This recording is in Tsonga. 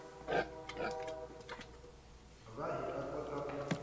va hi ta kota ku